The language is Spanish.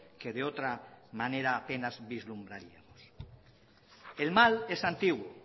que de otra manera apenas vislumbraríamos el mal es antiguo